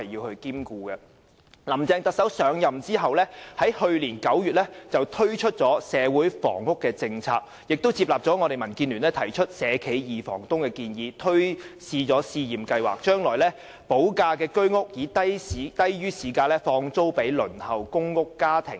特首林鄭月娥上任後，在去年9月推出社會房屋政策，並接納民建聯提出"社企二房東"的建議，推行試驗計劃，把未補地價的居屋以低於市價轉租予正在輪候公屋的家庭。